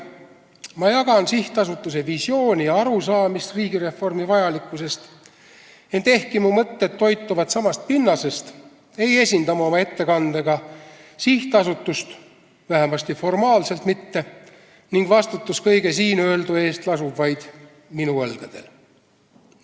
Ma jagan sihtasutuse visiooni ja arusaama riigireformi vajalikkusest, ent ehkki mu mõtted toituvad samast pinnasest, ei esinda ma oma ettekandega sihtasutust, vähemasti formaalselt mitte, ning vastutus kõige siinöeldu eest lasub vaid minu õlgadel.